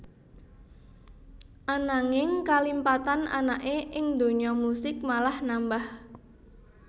Ananging kalimpatan anaké ing donya musik malah nambah